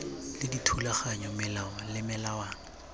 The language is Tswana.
le dithulaganyo melao le melawana